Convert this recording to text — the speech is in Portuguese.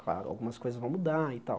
Claro, algumas coisas vão mudar e tal.